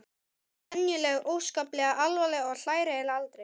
En hún er venjulega óskaplega alvarleg og hlær eiginlega aldrei.